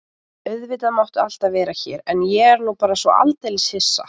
Auðvitað máttu alltaf vera hér en ég er nú bara svo aldeilis hissa.